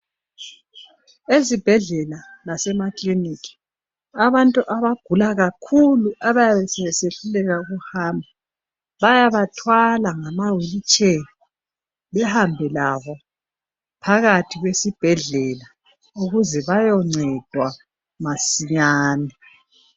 Ezibhedlela lasemakilinikhi abantu abagula kakhulu abayabe sebesehluleka ukuhamba bayabathwala ngama wheel chair behambe labo phakathi kwesibhedlela ukuze bayoncedwa masinyane